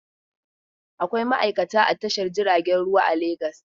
Akwai ma'aikata a Tashar jiragen ruwa a Legas.